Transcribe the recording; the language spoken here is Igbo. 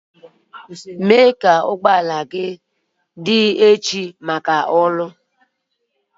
Mee ka ụgbọ ala gị dị echi maka ọrụ.